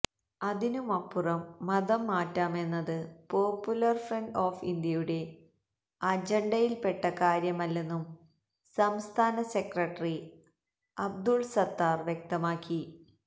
അതിനുമപ്പുറം മതം മാറ്റാമെന്നത് popular front of ഇന്ത്യയുടെ അജണ്ടയില്പ്പെട്ട കാര്യമല്ലെന്നും സംസ്ഥാന സെക്രട്ടറി അബ്ദുല് സത്താര് വ്യക്തമാക്കി